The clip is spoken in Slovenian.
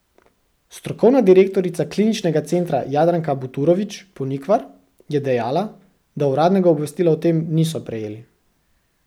Strokovna direktorica kliničnega centra Jadranka Buturović Ponikvar je dejala, da uradnega obvestila o tem niso prejeli.